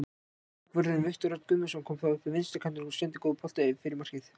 Bakvörðurinn Viktor Örn Guðmundsson kom þá upp vinstri kantinn og sendi góðan bolta fyrir markið.